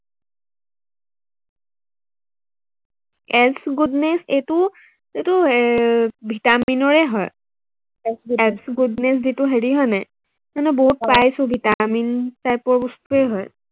S goodness এইটো, এইটো এৰ ভিটামিনৰে হয়, এচ গুডনেছ যিটো হেৰি হয় নাই, বহুত পাইছো ভিটামিন type ৰ বস্তুৱেই হয়।